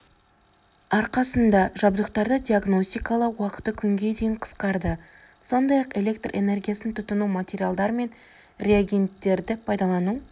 арқасында жабдықтарды диагностикалау уақыты күнге дейін қысқарды сондай-ақ электр энергиясын тұтыну материалдар мен раегенттерді пайдалану